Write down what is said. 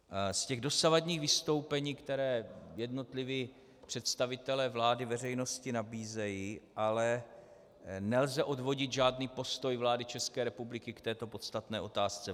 Z těch dosavadních vystoupení, která jednotliví představitelé vlády veřejnosti nabízejí, ale nelze odvodit žádný postoj vlády České republiky k této podstatné otázce.